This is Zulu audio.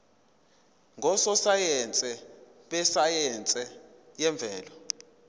ngososayense besayense yemvelo